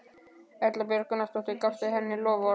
Erla Björg Gunnarsdóttir: Gafstu henni loforð?